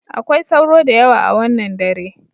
Akwai sauro da yawa a wannan dare.